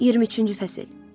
23-cü fəsil.